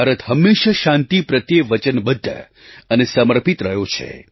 ભારત હંમેશાં શાંતિ પ્રત્યે વચનબદ્ધ અને સમર્પિત રહ્યો છે